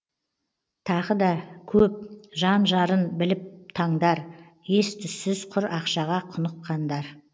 тағы да көп жан жарын біліп таңдар ес түссіз құр ақшаға құныққандар